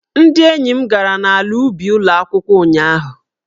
Ndị enyi m gara n'ala ubi ụlọ akwụkwọ ụnyahụ